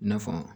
I na fɔ